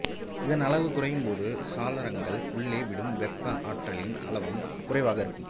இதன் அளவு குறையும்போது சாளரங்கள் உள்ளே விடும் வெப்ப ஆற்றலின் அளவும் குறைவாக இருக்கும்